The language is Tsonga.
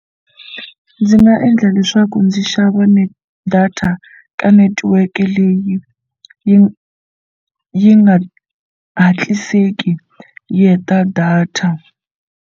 Ndzi nga endla leswaku ndzi xava data ka netiweke leyi yi yi nga hatliseli yi heta data.